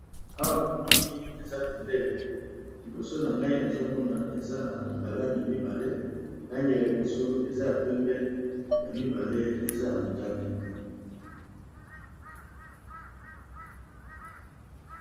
Awa namoni eza bendele liboso na ngai nazomona, eza na balangi mibale langi ya liboso eza ya pembe ya mibale eza ya motane.